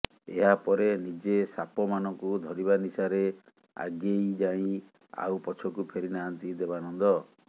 ଏହାପରେ ନିଜେ ସାପ ମାନଙ୍କୁ ଧରିବା ନିଶାରେ ଆଗେଇ ଯାଇ ଆଉ ପଛକୁ ଫେରି ନାହାନ୍ତି ଦେବାନନ୍ଦ